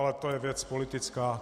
Ale to je věc politická.